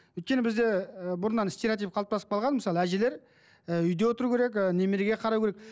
өйткені бізде ы бұрыннан стереотип қалыптасып қалған мысалы әжелер ы үйде отыру керек ы немереге қарау керек